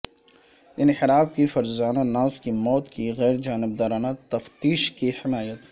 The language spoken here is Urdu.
انحراف کی فرزانہ ناز کی موت کی غیرجانبدارانہ تفتیش کی حمایت